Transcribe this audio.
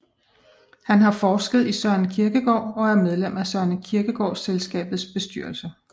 Han har forsket i Søren Kierkegaard og er medlem af Søren Kierkegaard Selskabets bestyrelse